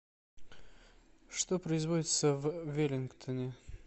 что производится в веллингтоне